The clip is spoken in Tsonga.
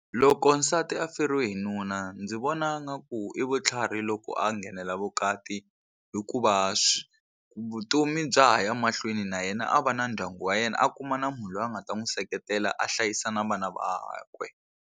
Loko nsati a feriwe hi nuna ndzi vona nga ku i vutlhari loko a nghenela vukati hikuva vutomi bya ha ya mahlweni na yena a va na ndyangu wa yena a kuma na munhu loyi a nga ta n'wi seketela a hlayisa na vana vakwe.